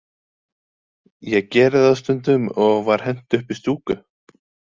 Ég geri það stundum, og var hent upp í stúku.